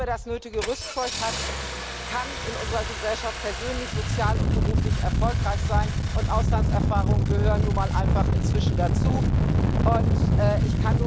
Nur wer das nötige Rüstzeug hat, kann in unserer Gesellschaft persönlich, sozial und beruflich erfolgreich sein, und Auslandserfahrungen gehören inzwischen nun mal einfach dazu.